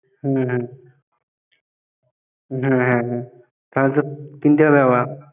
হম হম না না,